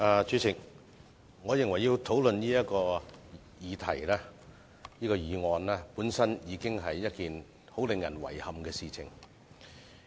主席，我認為要討論這項議案，本身已經是一件令人遺憾的事情。